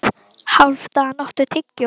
Hálfdan, áttu tyggjó?